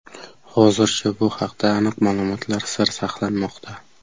Hozircha bu haqda aniq ma’lumotlar sir saqlanmoqda.